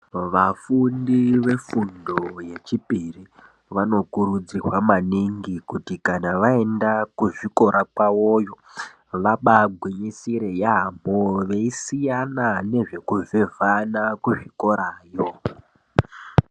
Vafundi vefundo yechipiri vanokurudzirwa maningi kuti vaenda kuzvikora kwawoyo vabagwinyisire yambo kuvhevhana kuzvikorayo.